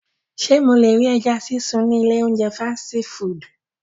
Ṣe mo le ri ẹja sisun ni ile ounjẹ fasiti fudu?